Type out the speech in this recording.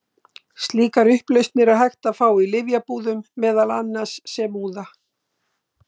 Slíkar upplausnir er hægt að fá í lyfjabúðum, meðal annars sem úða.